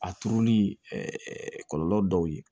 A turuli kɔlɔlɔ dɔw ye